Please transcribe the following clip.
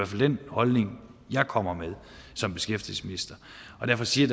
fald den holdning jeg kommer med som beskæftigelsesminister derfor siger